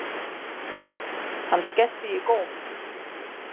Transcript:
Hann skellti í góm.